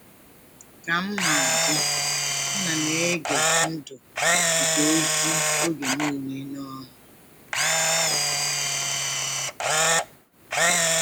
Ka m na-adị, um ana m ege ndụ nke ozi oge niile n’ọṅụ. um